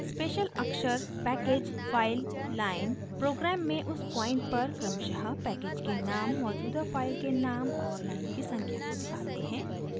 special अक्षर package file line programme में उस पॉइंट पर क्रमशः पैकेज के नाम मौजूदा फाइल के नाम और लाइन की संख्या को दिखाते हैं